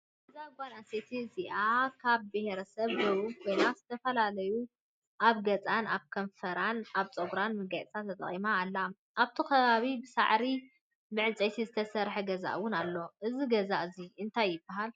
እዛ ጋል ኣነስተይቲ እዚኣ ካብ ብሄረሰብ ደቡብ ኮይና ዝተፈላለዩ ኣብ ገዛን ኣብ ቀንፈራን ኣብ ፀጉራን መጋየፅታት ተጠቂማ ኣላ። ኣብቲ ከባቢኣ ብሳዕሪን ብዕንፃይትን ዝተሰረሐ ገዛ እውን ኣሎ። እዚ ገዛ እዙይ እንታይ ይበሃል?